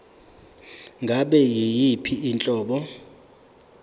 ngabe yiyiphi inhlobo